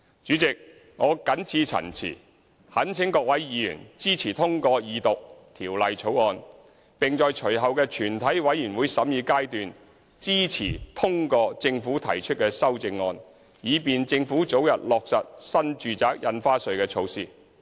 主席，我謹此陳辭，懇請各位議員支持通過二讀《條例草案》，並在隨後的全體委員會審議階段支持通過政府提出的修正案，以便政府早日落實新住宅印花稅措施。